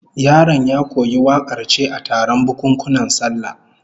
Yaron ya koyi wakar ce a taron bukunkunan sallah